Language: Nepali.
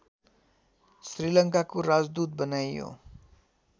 श्रीलङ्काको राजदूत बनाइयो